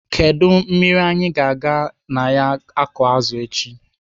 Kedụ mmiri anyị ga-aga na ya akụ azụ echi?